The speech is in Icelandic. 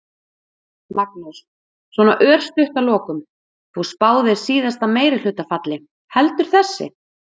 Magnús: Svona örstutt að lokum, þú spáðir síðasta meirihluta falli, heldur þessi?